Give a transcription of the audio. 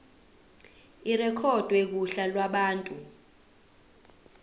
irekhodwe kuhla lwabantu